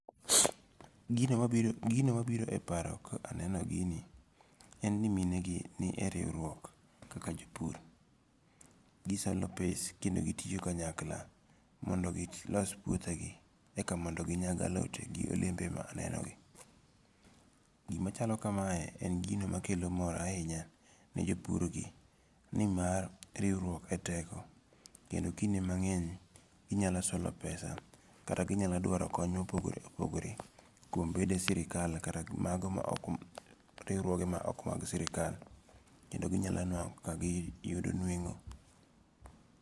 Gino mabiro gino mabiro e paro ka aneno gini en ni minegi ni e riuruok kaka jo pur, gisango' pes kendo gitiyo kanyakla mondo gi los iputhegi ekamondo ginyag alotegi gi olembe ma anenogi, gimachalo kamae en gino makelo mor ahinya ne jopurgi nimar riwruok e teko kendo kinde mange'ny inyalo solo pesa kata ginyalo dwaro kony ma opogore opogore kuom bede sirikal kata mago ma ok riwruoge ma ok ma sirikal kendo ginyalo nwango' kaka giyudo nwengo'